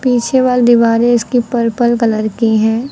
पीछे वॉल दीवारें इसकी पर्पल कलर की हैं।